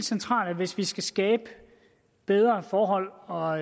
centralt hvis vi skal skabe bedre forhold og